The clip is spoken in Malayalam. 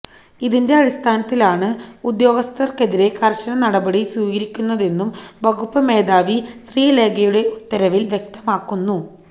ഇതിന്റെ അടിസ്ഥാനത്തിലാണ് ഉദ്യോഗസ്ഥർക്കെതിരെ കർശന നടപടി സ്വീകരിക്കുന്നതെന്നും വകുപ്പ് മേധാവി ശ്രീലേഖയുടെ ഉത്തരവിൽ വ്യക്തമാക്കുന്നു